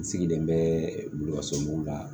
N sigilen bɛ wuluso mun kan